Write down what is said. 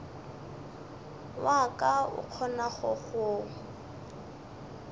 wa ka o kgonago go